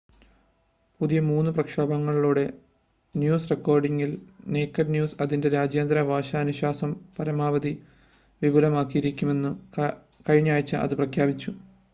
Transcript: പുതിയ മൂന്ന് പ്രക്ഷേപണങ്ങളോടെ ന്യൂസ് റിപ്പോർട്ടിംഗിൽ നേകഡ് ന്യൂസ് അതിൻ്റെ രാജ്യാന്തര ഭാഷ അനുശാസനം പരമാവധി വിപുലീകരിക്കുമെന്ന് കഴിഞ്ഞാഴ്ച അത് പ്രഖ്യാപിച്ചു